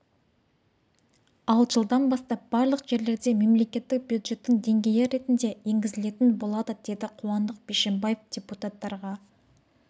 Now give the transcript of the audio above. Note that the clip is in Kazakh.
ал жылдан бастап барлық жерлерде мемлекеттік бюджеттің деңгейі ретінде енгізілетін болады деді қуандық бишімбаев депутаттарға